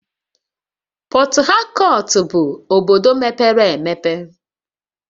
Port Harcourt bụ obodo mepere emepe